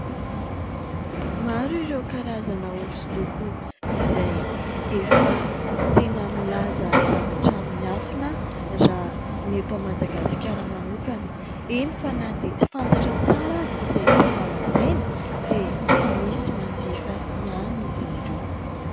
Maro ireo karazana hosodoko izay efa tena milaza zavatra miafina raha ny eto Madagasikara manokana, eny fa na dia tsy fantatra tsara izay tianao lazaina dia misy manjifa ihany izy ireo.